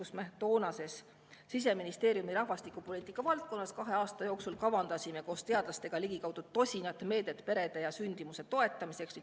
Me toona kavandasime Siseministeeriumis rahvastikupoliitika valdkonnas kahe aasta jooksul koos teadlastega ligikaudu tosin meedet perede ja sündimuse toetamiseks.